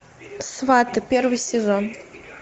сваты первый сезон